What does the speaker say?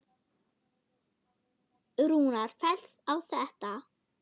Rúnar fellst á þetta.